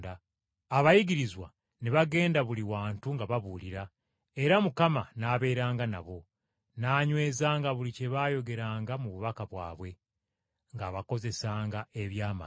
Abayigirizwa ne bagenda buli wantu nga babuulira; era Mukama n’abeeranga nabo, n’anywezanga buli kye baayogeranga mu bubaka bwabwe, ng’abakozesanga eby’amagero.